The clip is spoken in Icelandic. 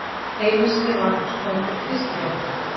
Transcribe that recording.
Einu sinni var hún snoturt fiskiþorp.